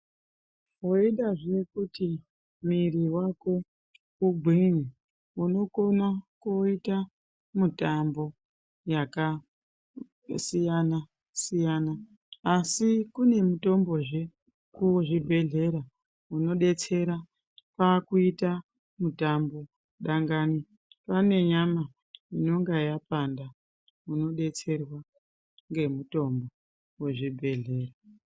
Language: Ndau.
Weidazve kuti mwiri wako ugwinye unokona kuita mitombo yakasiyana-siyana asi kune mitombozve kuzvibhedhlera inodetsera pakuita mitambo kana une nyama inonga yapanda inodetserwa ngemitombo kuzvibhedhlera.